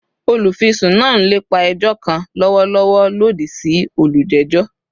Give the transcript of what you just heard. Olufisun naa n lepa ẹjọ kan lọwọlọwọ lodi si olujejọ